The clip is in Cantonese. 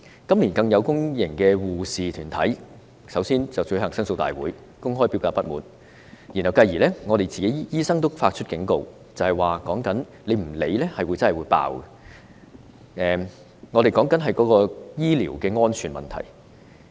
今年更有公營醫護團體先後舉行申訴大會，公開表達不滿，繼而醫生也警告，如果當局不加以理會，將會爆發醫療安全問題。